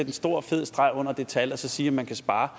en stor fed streg under det tal og så sige at man kan spare